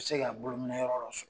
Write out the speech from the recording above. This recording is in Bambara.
U bɛ se ka bolo minɛ yɔrɔ dɔ sɔrɔ!